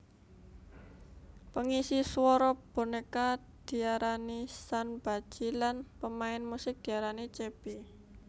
Pengisi swara boneka diaranisanbaji lan pemain musik diarani chaebi